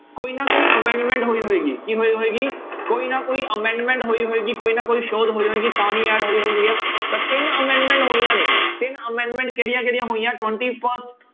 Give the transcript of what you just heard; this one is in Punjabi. ਕੋਈ ਨਾ ਕੋਈ amendment ਹੋਈ ਹੋਏਗਾ ਕੀ ਹੋਈ ਹੋਏਗੀ ਕੋਈ ਨਾ ਕੋਈ amendment ਹੋਈ ਹੋਏਗੀ ਕੋਈ ਨਾ ਕੋਈ ਸੋਧ ਹੋਈ ਹੋਏਗੀ ਤਾਂ ਹੀ add ਹੋਈ ਹੋਣਗੀਆਂ ਤਾਂ ਤਿੰਨ amendment ਹੋਈਆਂ ਨੇ, ਤਿੰਨ amendment ਕਿਹੜੀਆਂ ਕਿਹੜੀਆਂ ਹੋਈਆਂ twenty first